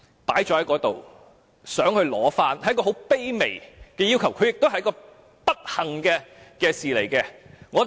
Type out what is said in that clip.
領回骨灰安放是一個很卑微的要求，也是一件不幸的事情。